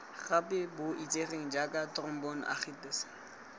gape bo itsegeng jaaka thromboangitis